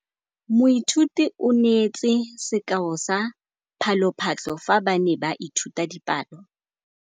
Moithuti o neetse sekaô sa palophatlo fa ba ne ba ithuta dipalo.